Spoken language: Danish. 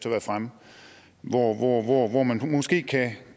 været fremme hvor hvor man måske kan